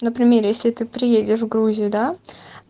например если ты приедешь в грузию да